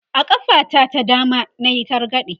a ƙafa ta ta dama nayi targade